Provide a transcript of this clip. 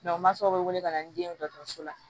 u mansaw bɛ wele ka na ni den ye dɔgɔtɔrɔso la